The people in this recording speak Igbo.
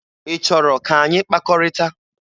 Ị chọrọ ka anyị kpakọrịta?